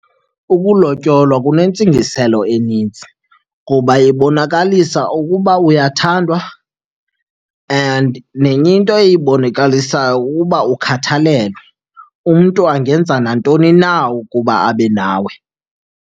Ukulotyolwa kunentsingiselo enintsi kuba ibonakalisa ukuba uyathandwa and nenye into eyibonakalisayo kukuba ukhathalelwe, umntu angenza nantoni na ukuba abe nawe.